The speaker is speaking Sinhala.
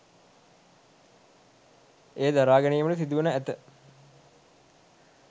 එය දරාගැනීමට සිදුවනු ඇත